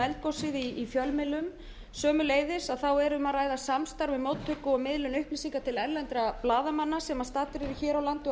um eldgosið í fjölmiðlum sömuleiðis er um að ræða samstarf um móttöku og miðlun upplýsinga til erlendra blaðamanna sem staddir eru hér á landi og